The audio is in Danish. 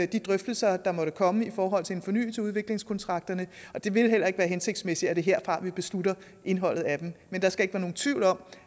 de drøftelser der måtte komme i forhold til en fornyelse af udviklingskontrakterne og det vil heller ikke være hensigtsmæssigt at det er herfra man beslutter indholdet af dem men der skal ikke være nogen tvivl om